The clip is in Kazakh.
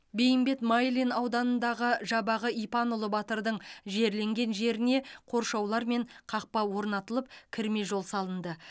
бейімбет майлин ауданындағы жабағы ипанұлы батырдың жерленген жеріне қоршаулар мен қақпа орнатылып кірме жол салынды